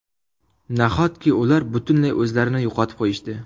Nahotki ular butunlay o‘zlarini yo‘qotib qo‘yishdi?